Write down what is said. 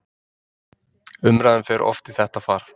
Umræðan fer oft í þetta far